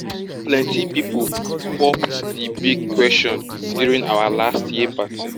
plenty people popped di big question during our last year party